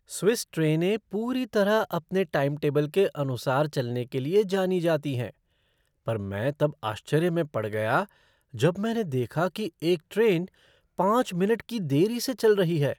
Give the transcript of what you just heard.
Swiss ट्रेनें पूरी तरह अपने टाइम टेबल के अनुसार चलने के लिए जानी जाती हैं पर मैं तब आश्चर्य में पड़ गया जब मैंने देखा कि एक ट्रेन पाँच मिनट की देरी से चल रही है।